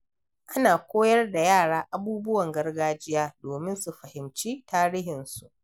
Ana koyar da yara abubuwan gargajiya domin su fahimci tarihinsu.